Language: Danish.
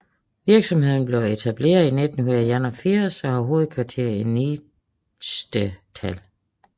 Virksomheden blev etableret i 1981 og har hovedkvarter i Niestetal